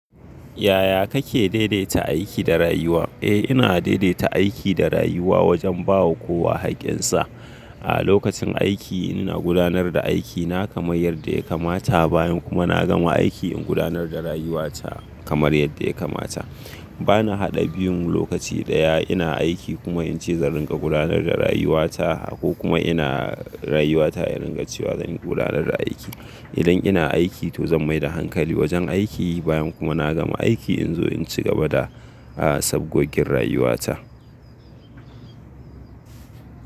Yaya kake daidaita aiki da rayuwa? Eh, ina daidaita aiki da rayuwa wajen ba wa kowa haƙƙinsa. A lokacin aiki ina gudanar da aiki na kamar yadda ya kamata, bayan kuma na gama aiki in gudanar da rayuwata kamar yadda ya kamata. Ba na haɗa biyun lokaci ɗaya. Ina aiki kuma in ce zan ringa gudanar da rayuwata ko kuma ina rayuwata in ringa cewa zan gudanar da aiki. Idan ina aiki to zan mai da hankali wajen aiki bayan kuma na gama aiki in zo in cigaba da, ah, sabgogin rayuwata.